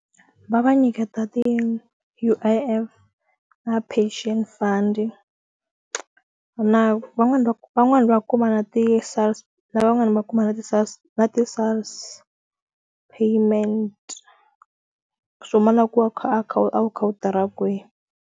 Va va nyiketa ti U_I_F na pension fund na van'wani va van'wani va kuma na ti lavan'wana va kuma na ti na ti payment swo ma na ku a kha a kha a wu kha a wu tirha kwihi.